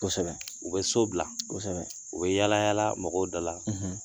Kosɛbɛ, u bɛ so bila, u bɛ yaala yaala mɔgɔw dala